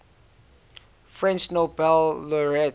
french nobel laureates